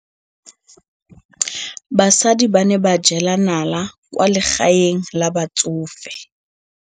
Basadi ba ne ba jela nala kwaa legaeng la batsofe.